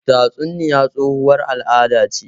Tatsuniya tsohuwar al'ada ce.